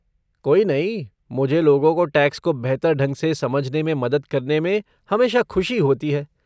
कोई नहीं, मुझे लोगों को टैक्स को बेहतर ढंग से समझने में मदद करने में हमेशा खुशी होती है।